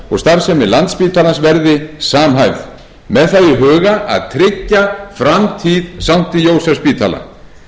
og starfsemi landspítalans verði samhæfð með það í huga að tryggja framtíð sankti jósefsspítala